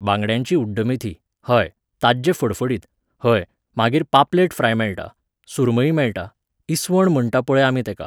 बांगड्यांची उड्डमेथी, हय, ताज्जे फडफडीत, हय, मागीर पापलेट फ्राय मेळटा, सुरमई मेळटा, इस्वण म्हणटा पळय आमी तेका.